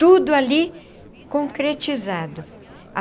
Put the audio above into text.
Tudo ali concretizado.